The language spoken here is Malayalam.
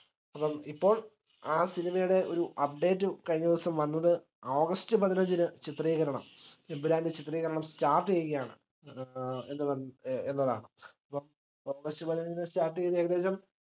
അപ്പം ഇപ്പോൾ ആഹ് cinema യുടെ ഒര് update കഴിഞ്ഞദിവസം വന്നത് ഓഗസ്റ്റ് പതിനഞ്ചിന് ചിത്രീകരണം എമ്പുരാന്റെ ചിത്രീകരണം start ചെയ്യുകയാണ് ഏർ എന്ന് പറ എന്നതാണ്. ഇപ്പം ഓഗസ്റ്റ് പതിനഞ്ചിന് start ചെയ്ത ഏകദേശം